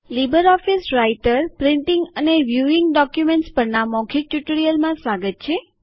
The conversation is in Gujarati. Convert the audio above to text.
લીબરઓફીસ રાઈટર પ્રિન્ટીંગ અને વ્યૂઇંગ ડોક્યુમેન્ટ્સ પરના મૌખિક ટ્યુટોરીયલમાં સ્વાગત છે